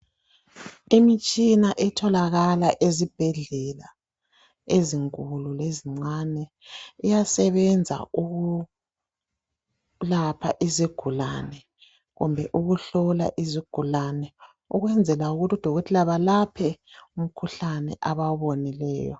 Imitshina etholakala ezibhedlela ezinkulu lezincane iyasebenza ukulapha izigulane kumbe ukuhlola izigulane ukwenzela ukuthi udokotela belaphe umkhuhlane abawubonileyo